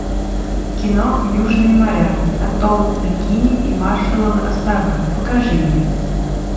кино южные моря атолл бикини и маршалловы острова покажи мне